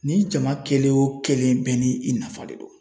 Nin jama kelen o kelen bɛɛ ni i nafa de don